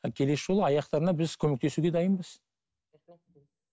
келесі жолы аяқтарына біз көмектесуге дайынбыз